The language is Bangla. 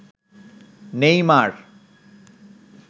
নেইমার